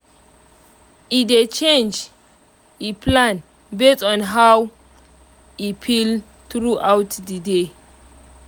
e dey change e plan base on how on how e feel throughout the day